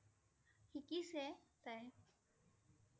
শিকিছে তাই!